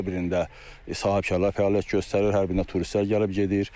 Hər birində sahibkarlar fəaliyyət göstərir, hər birinə turistlər gəlib gedir.